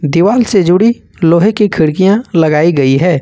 दीवाल से जुड़ी लोहे की खिड़कियां लगाई गई है।